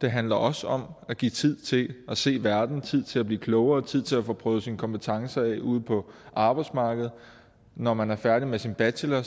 det handler også om at give tid til at se verden tid til at blive klogere tid til at få prøvet sine kompetencer af ude på arbejdsmarkedet når man er færdig med sin bachelor